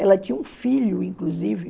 Ela tinha um filho, inclusive.